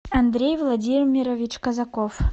андрей владимирович казаков